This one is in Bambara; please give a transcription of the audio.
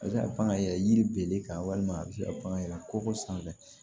A bɛ se ka pan ka yɛlɛ yiri kan walima a bɛ se ka pan yɛlɛn kɔkɔ sanfɛ